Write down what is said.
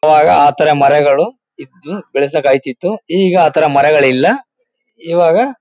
ಅವಾಗ ಆ ತರ ಮರಗಳು ಇತ್ತು ಬೆಳೆಸಕ್ಕಾಯ್ತಿತ್ತು. ಈಗ ಆ ತರ ಮರಗಳಿಲ್ಲ ಇವಾಗ--